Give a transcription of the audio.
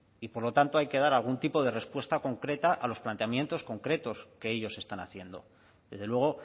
y por lo tanto hay que dar algún tipo de respuesta concreta a los planteamientos concretos que ellos están haciendo desde luego